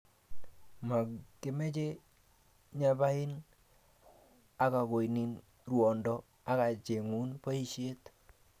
ma kemache nyapain akakonin rwondo akachengun poishet?